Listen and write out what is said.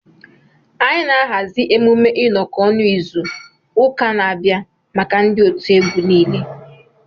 Anyị na-ahazi emume ịnọkọ ọnụ izu ụka na-abịa maka ndị otiegwu nile